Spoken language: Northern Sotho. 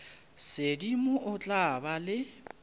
sedimo o tla ba le